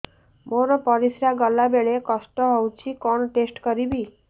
ମୋର ପରିସ୍ରା ଗଲାବେଳେ କଷ୍ଟ ହଉଚି କଣ ଟେଷ୍ଟ କରିବି